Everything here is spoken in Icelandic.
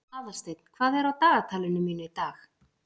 Aðalsteinn, hvað er á dagatalinu mínu í dag?